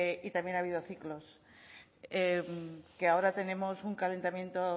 y también ha habido ciclos que ahora tenemos un calentamiento